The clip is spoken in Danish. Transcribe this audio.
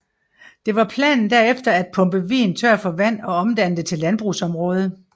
Det var planen derefter at pumpe vigen tør for vand og omdanne det til landbrugsområde